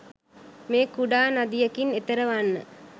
මේ කුඩා නදියකින් එතෙර වන්න